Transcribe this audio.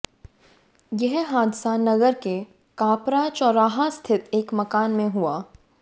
यह हादसा नगर के काप्रा चौराह स्थित एक मकान में हुआ